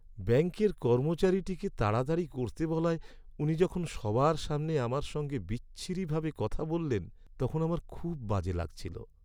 ব্যাঙ্কের কর্মচারীটাকে তাড়াতাড়ি করতে বলায় উনি যখন সবার সামনে আমার সঙ্গে বিচ্ছিরিভাবে কথা বললেন, তখন আমার খুব বাজে লাগছিলো।